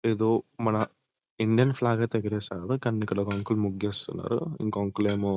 ఎదో మన Indian flag ఐతే ఎగరేశారు కానీ ఇక్కడ ఒక అంకుల్ ముగ్గేస్తున్నారు అంకుల్ ఇంకో అంకుల్ ఏమో--